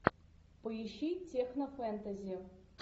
поищи техно фэнтези